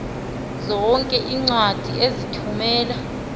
zonke iincwadi ozithumela